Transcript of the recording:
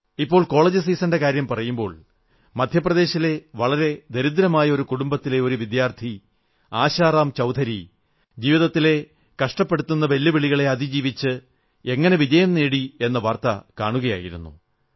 ഇപ്പോൾ കോളജ് സീസണിന്റെ കാര്യംപറയുമ്പോൾ മധ്യപ്രദേശിലെ വളരെ ദരിദ്രമായ ഒരു കുടുംബത്തിലെ ഒരു വിദ്യാർഥി ആശാറാം ചൌധരി ജീവിതത്തിലെ കഷ്ടപ്പെടുത്തുന്ന വെല്ലുവിളികളെ അതിജീവിച്ച് എങ്ങനെ വിജയം നേടി എന്ന വാർത്ത കാണുകയായിരുന്നു